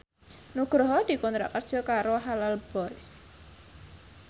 Nugroho dikontrak kerja karo Halal Boys